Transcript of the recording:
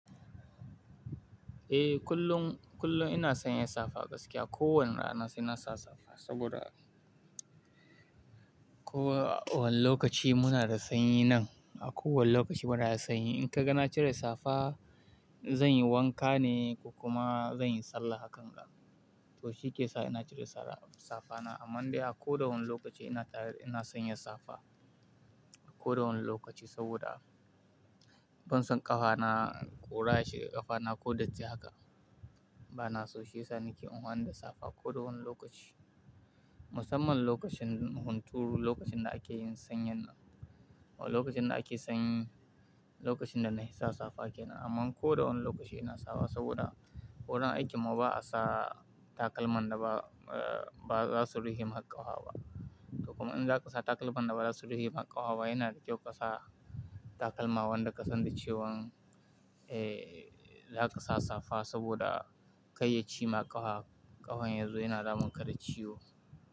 Eh kullum, kullum ina san ya safa gaskiya. Ko wane rana sai na sa safa saboda ko wane lokaci muna da sanyi nan. A kowane lokaci muna da sanyi. In ka ga na cire safa, zan yi wanka ne kokuma zan yi sallah hakan ga. To shi ke sa ina cire safa na. Amma dai a kodawani lokaci ina tare, ina san ya safa. Ko dawani lokaci saboda ban san ƙafana ƙura shi, ƙafana ko datti haka. Bana so shi yasa nake afani da safa ko da wani lokaci. Musamman lokacin hunturu, lokacin da ake yin sanyi nan. Lokacin da ake sanyi, lokacin da nafi sa safa ke nan. Amma ko da wani lokaci ina sawa saboda worin aiki mu ba'a sa takalman da ba, ba za su rufe ma ƙafa ba To kuma in za ka sa takalman da ba za su rufe ma ƙafa yina da kyau ka sa takalma wanda ka san da cewan, eh, za ka sa safa saboda kai ya ciyi ma ƙafa, ƙafan yazo yana damun ka da ciyo.